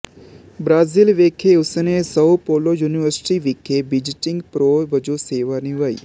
Brazil ਵਿੱਖੇ ਉਸਨੇ ਸਓ polo university ਵਿੱਖੇ visiting pro ਵਜੋਂ ਸੇਵਾ ਨਿਭਾਈ